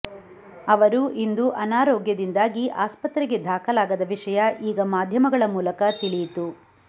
ಅವರು ಇಂದು ಅನಾರೋಗ್ಯದಿಂದಾಗಿ ಆಸ್ಪತ್ರಗೆ ದಾಖಲಾಗದ ವಿಷಯ ಈಗ ಮಾಧ್ಯಮಗಳ ಮೂಲಕ ತಿಳಿಯಿತು